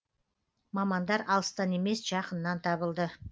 мамандар алыстан емес жақыннан табылды